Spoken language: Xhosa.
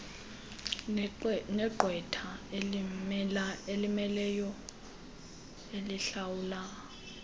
negqwetha elimmeleyo elihlawulwa